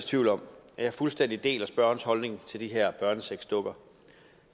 tvivl om at jeg fuldstændig deler spørgerens holdning til de her børnesexdukker